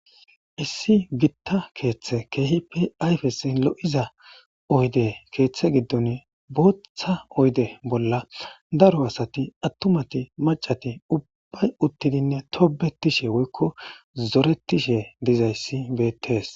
issi gitta keeththe keehipi ayfesi lo7iza oyde keeththe giddon booththa oyde bolla daro asati attumati macati ubbay uttidinne tobetishe woykko zoretishe dizayssi beettees